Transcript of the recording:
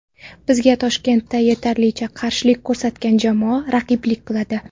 Bizga Toshkentda yetarlicha qarshilik ko‘rsatgan jamoa raqiblik qiladi.